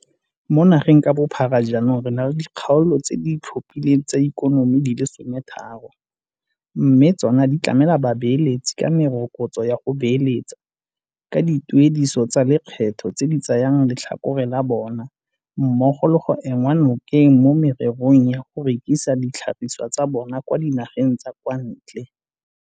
Mo nageng ka bophara jaanong re na le dikgaolo tse di itlhophileng tsa ikonomi di le 13, mme tsona ditlamela babeeletsi ka merokotso ya go beeletsa, ka dituediso tsa lekgetho tse di tsayang letlhakore la bona mmogo le go enngwa nokeng mo mererong ya go rekisa ditlhagisiwa tsa bona kwa dinageng tsa kwa ntle.